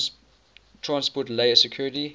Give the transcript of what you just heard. transport layer security